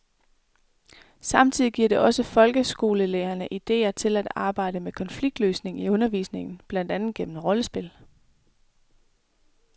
Samtidig giver det også folkeskolelærerne idéer til at arbejde med konfliktløsning i undervisningen, blandt andet gennem rollespil.